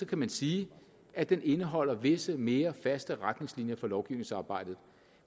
kan man sige at den indeholder visse mere faste retningslinjer for lovgivningsarbejdet